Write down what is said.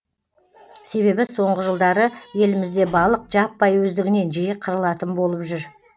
себебі соңғы жылдары елімізде балық жаппай өздігінен жиі қырылатын болып жүр